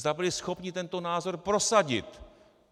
Zda byli schopni tento názor prosadit?